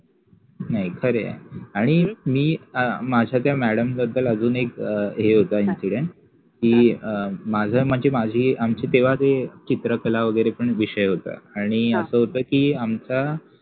हे खर आहे, आणि मि अ माझ्या त्या मॅडम बद्दल अजुन एक हे होत इंसिडंस कि अ माझ म्हनजे माझि आमचि तेव्हा तते चित्रकला वगेरे पन विषय होत आणि अस होत कि आमच्या